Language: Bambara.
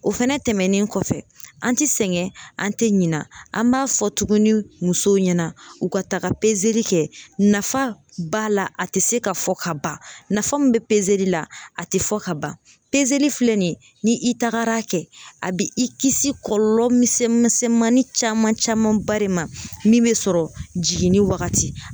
O fɛnɛ tɛmɛnen kɔfɛ an ti sɛgɛn an te ɲinɛ an b'a fɔ tuguni musow ɲɛna u ka taga kɛ nafa b'a la a te se ka fɔ ka ban nafa min be la a te fɔ ka ban filɛ nin ye ni i tagar'a kɛ a bi i kisi kɔlɔlɔ misɛnman misɛnmanin caman camanba de ma min bɛ sɔrɔ jiginni wagati